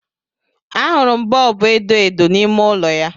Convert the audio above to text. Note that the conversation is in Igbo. Ahụrụ m bọọbụ edo edo n'ime ụlọ ya